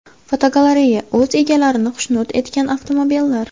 Fotogalereya: O‘z egalarini xushnud etgan avtomobillar.